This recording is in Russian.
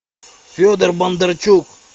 федор бондарчук